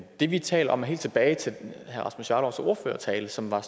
det vi taler om er helt tilbage til herre rasmus jarlovs ordførertale som var